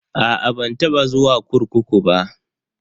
A'a ban taba zuwa kurkuku ba.